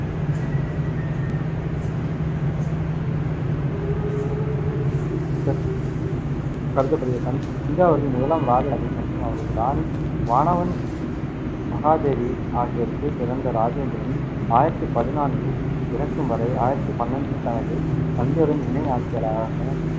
கருதப்படுகிறது. தஞ்சாவூரில் முதலாம் இராஜராஜன் மற்றும் அவரது ராணி வானவன் மகாதேவி ஆகியோருக்குப் பிறந்த இராஜேந்திரன், ஆயிரத்தி பதினான்கில் இறக்கும் வரை, ஆயிரத்தி பன்னெண்டில் தனது தந்தையுடன் இணை ஆட்சியாளராக